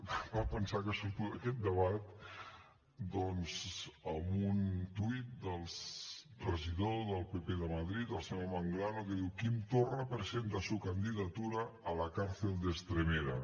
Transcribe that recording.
em fa pensar que surto d’aquest debat doncs amb un tuit del regidor del pp de madrid el senyor manglano que diu quim torra presenta su candidatura a la cárcel de estremera